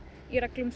í reglum